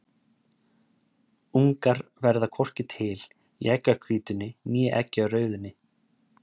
Ungar verða hvorki til í eggjahvítunni né eggjarauðunni.